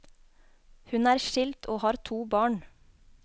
Hun er skilt og har to barn.